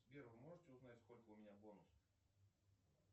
сбер вы можете узнать сколько у меня бонусов